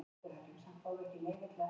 Og þú samþykktir það.